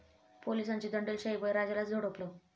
पोलिसांची दंडेलशाही, बळीराजालाच झोडपलं